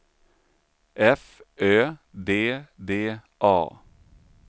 F Ö D D A